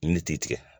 Yiri ti tigɛ